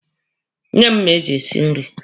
Nye m mma eji esi nri!